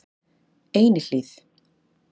Einihlíð